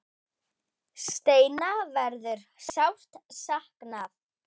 Steina verður sárt saknað.